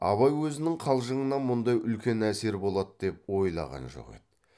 абай өзінің қалжыңынан мұндай үлкен әсер болады деп ойлаған жоқ еді